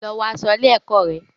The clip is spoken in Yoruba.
Lọ wọ aṣọ ilé-ẹ̀kọ́ rẹ.